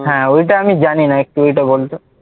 হ্যাঁ ওইটা আমি জানি না, একটু ওইটা বল তো।